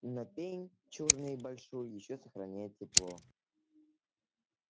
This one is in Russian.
но пень чёрный и большой ещё сохраняет тепло